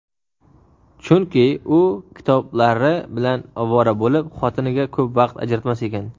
Chunki u kitoblari bilan ovora bo‘lib xotiniga ko‘p vaqt ajratmas ekan.